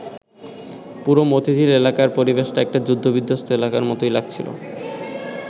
পুরো মতিঝিল এলাকার পরিবেশটা একটা যুদ্ধবিধ্বস্ত এলাকার মতোই লাগছিল।